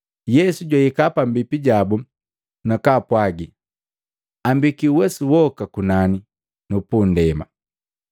Yesu jwahika pambipi jabu na kwaapwagi, “Ambekii uwesu woka kunani nu pundema.